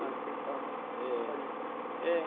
Mas pensava. Eh. Parecido. Eh.